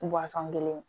kelen